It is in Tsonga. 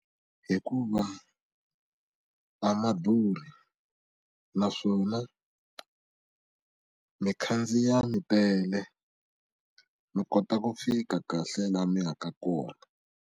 Hikuva a ma durhi naswona mikhandziya mitele mi kota ku fika kahle laha mi ya ka kona.